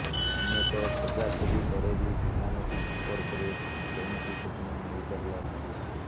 ଅନେକ ଖୋଜାଖୋଜି ପରେ ବି ବିମାନଟି ସମ୍ପର୍କରେ କୌଣସି ସୂଚନା ମିଳି ପାରିଲା ନାହିଁ